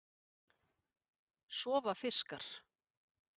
Sofa fiskar?